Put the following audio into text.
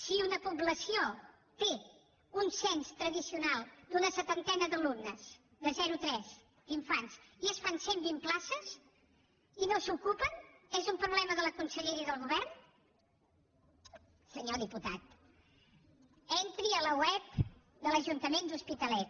si una població té un cens tradicional d’una setantena d’alumnes de zero tres d’infants i es fan cent i vint places i no s’ocupen és un problema de la conselleria del govern senyor diputat entri a la web de l’ajuntament de l’hospitalet